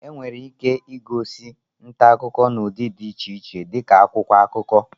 Enwere ike ịgosi nta akụkọ n'ụdị dị iche iche dị ka akwụkwọ akụkọ